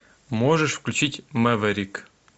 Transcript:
можешь включить мэверик